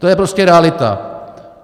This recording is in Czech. To je prostě realita.